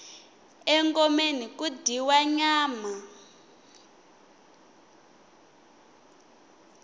engomeni ku dyiwa nyama